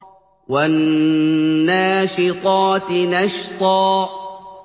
وَالنَّاشِطَاتِ نَشْطًا